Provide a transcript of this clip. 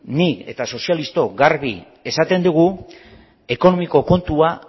nik eta sozialistok garbi esaten dugu ekonomiko kontua